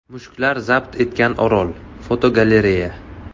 Mushuklar zabt etgan orol (fotogalereya).